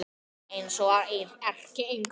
Eins og erkienglar.